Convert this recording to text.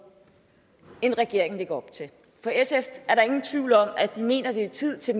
end det regeringen lægger op til for sf er der ingen tvivl om at den mener at det er tid til